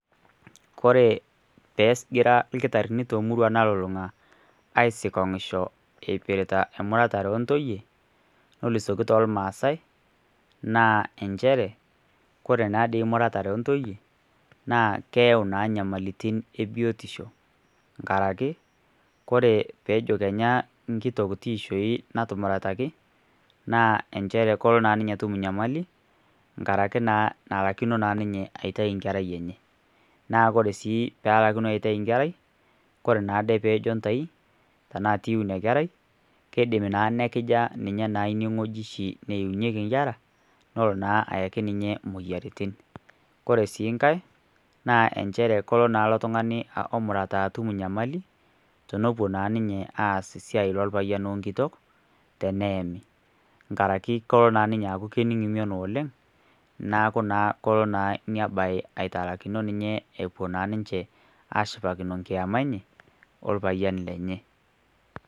kore peegira lkitarini te murua nalulunga aisikongishoo eipiritaa muratare ee ntoiye nolusokii toolmaasai naa enshere naa kore naadei muratare e ntoiye naa keyau naa nyamalitin ee biotisho ngarake kore peejo kenyaa nkitok tiishoi natumurataki naa enshere kolo naa ninye atum nyamali ngarake naa nalakino naa ninye aitai nkerai enyee naa kore sii pelakuno aitai nkerai kore naa ade peejo ntai tanaa tiiu inia kerai keidim naa nekijaa naa ninye inie nghojii shi neunyeki nkera nolo naa ayaki ninye moyaritin kore sii nghai naa enshere kolo naa ilo tungani omurataa atum nyamali tonopuo naa ninye aaz siai lolpayan o nkitok teneeni ngarake koloo naa ninye aaku kening mion oleng naaku naa koloo naa inia bai aitalakino ninye epuo naa ninshee ashipakino nkiema enyee o lpayan lenyee